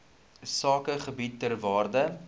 sakegebiede ter waarde